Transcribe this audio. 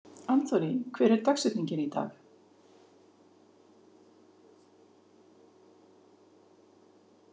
Anthony, hver er dagsetningin í dag?